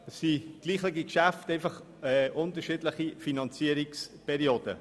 Es handelt sich um gleiche Geschäfte mit unterschiedlichen Finanzierungsperioden.